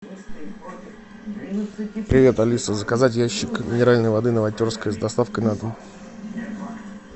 привет алиса заказать ящик минеральной воды новотерская с доставкой на дом